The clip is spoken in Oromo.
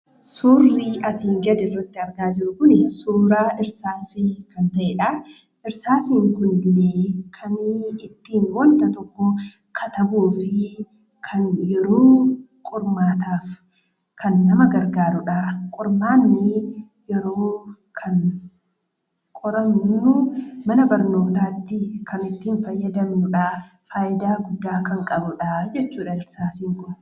Suurri asiin gaditti argaa jirru kun suuraa irsaasii kan ta'eedha. Irsaasiin Kun illee kan waanta tokko ittiin katabuu fi kan yeroo qormaataaf nama gargaaruudha. Qormaanni yeroo kana qoramnu mana barnootaatti kan ittiin fayyadamnuudha. Faayidaa guddaa kan qabuudha jechuudha irsaasiin Kun.